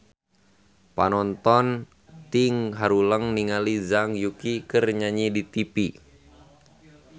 Panonton ting haruleng ningali Zhang Yuqi keur nyanyi di tipi